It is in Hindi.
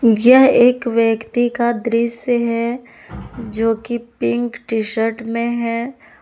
यह एक व्यक्ति का दृश्य है जो कि पिंक टी शर्ट में है।